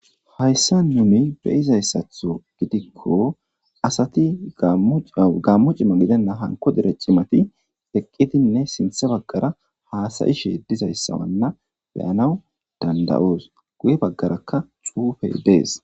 hayssa numi beyizayssatho gidikko asati gammu cima gidenna hanko dere cimati eqqidinne sinthe baggara haasayishe dizayssawanna beyanaw dandayoos guye baggarakka xuufe dees